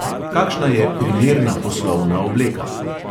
Kakšna je primerna poslovna obleka?